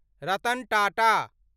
Ratan Tata